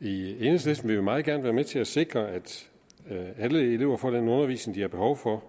i enhedslisten vil vi meget gerne være med til at sikre at alle elever får den undervisning de har behov for